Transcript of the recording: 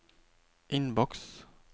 innboks